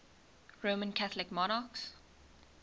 roman catholic monarchs